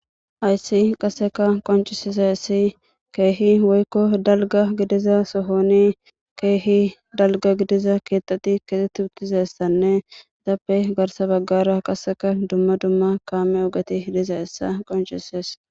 Ayssi qaseka qoncisiza yssi keehi woykko dalga gidiza sohoni keehi dalga gidiza keetati kexeti uttizessanne zappe garsa baggara qaseka dumma dumma kaame ogeti hiliza hissa qoncisees